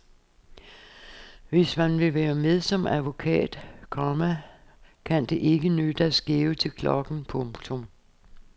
Hvis man vil være med som advokat, komma kan det ikke nytte at skæve til klokken. punktum